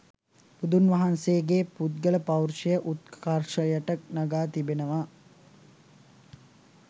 බුදුන් වහන්සේගේ පුද්ගල පෞරුෂය උත්කර්ෂයට නගා තිබෙනවා.